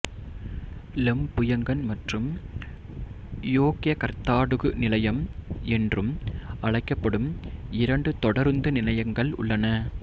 Lempuyangan மற்றும் Yogyakarta Tugu நிலையம் என்றும் அழைக்கப்படும் இரண்டு தொடருந்து நிலையங்கள் உள்ளன